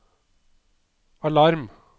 alarm